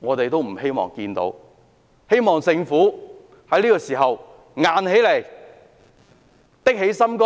我希望政府在這時候可以硬起來，下定決心